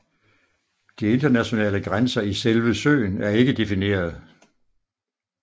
De internationale grænser i selve søen er ikke defineret